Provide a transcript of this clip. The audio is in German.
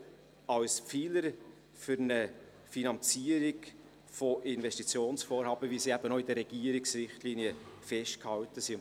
Dieser Fonds dient als Pfeiler für eine Finanzierung von Investitionsvorhaben, wie sie auch in den Regierungsrichtlinien festgehalten sind.